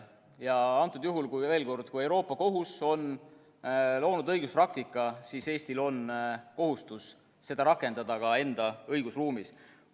Ja antud juhul, veel kord, kui Euroopa Kohus on loonud õiguspraktika, siis Eestil on kohustus seda rakendada ka enda õigusruumis.